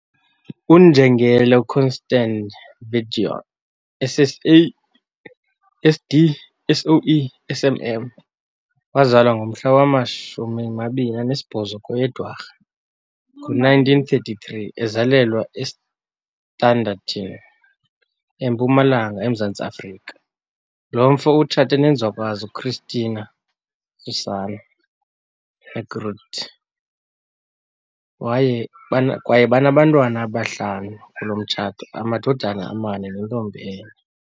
UNjengele Constand Viljoen SSA SD SOE SM wazalwa ngomhla wama-28 kweyeDwarha ngo1933, ezalelwa eStanderton, eMpumalanga E-Mzantsi Afrika. Lo mfo utshate nenzwakazi u-Christina Sussanna Heckroodt, kwaye banabantwana abahlanu kulo mtshato, amadodana amane nentombi enye.